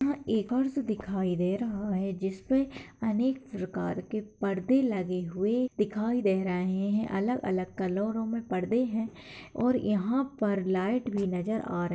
यहाँ एक और से दिखाई दे रहा है जिसपे अनेक प्रकार के पर्दे लगे हुए दिखाई दे रहे है अलग अलग कलरों में पर्दे है और यहाँ पर लाइट भी नजर आ रही है।